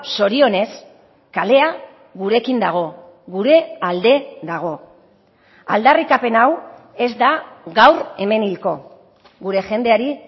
zorionez kalea gurekin dago gure alde dago aldarrikapen hau ez da gaur hemen hilko gure jendeari